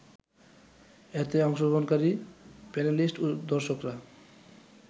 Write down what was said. এতে অংশগ্রহণকারী প্যানেলিস্ট ও দর্শকরা